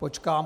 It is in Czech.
Počkám.